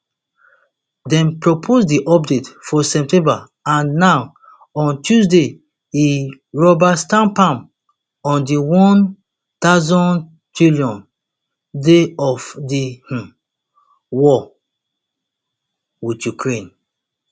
dem propose di update for september and na on tuesday e rubber stamp am on di one thousandth day of di um war with ukraine